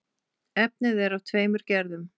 Efnið er af tveimur gerðum.